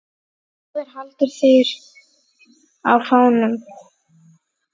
Báðir halda þeir á fánum.